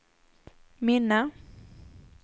minne